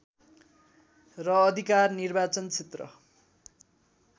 र अधिकार निर्वाचन क्षेत्र